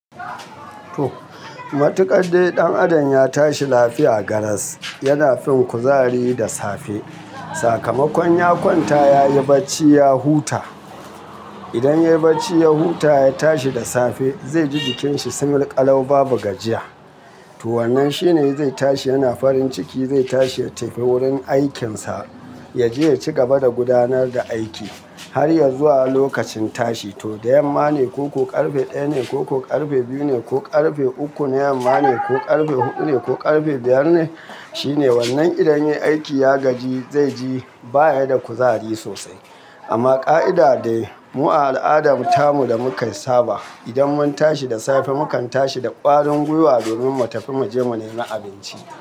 To! Matuƙaɗai ɗan adam ya tashi lafiya garas, yana fin kuzari da safe. Sakamakon ya kwanta yayi barci ya huta. Idan yayi barci ya huta ya tashi da safe, zai ji jikinsa sumul ƙalau babu gajiya. To wannan shine zai tashi yana farin ciki, zai tashi ya tafi wurin aikinsa ya je ya ci gaba da gudanar da aiki har ya zuwa lokacin tashi. To da yamma ne ko ku ƙarfe ɗaya ne ko ku ƙarfe biyu ne ko ƙarfe uku ne, yamma ne ko ƙarfe huɗu ne ko ƙarfe biyar ne, shine wannan idan yayi aiki ya gaji zai ji baya da kuzari sosai. Amma ƙa'ida da mu a al'adar Tamu da mukayi saba, idan mun tashi da safe mukan tashi da ƙwarin gwiwa domin mu tafi mu je mu nemi abinci.